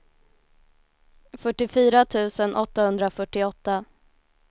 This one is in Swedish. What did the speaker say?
fyrtiofyra tusen åttahundrafyrtioåtta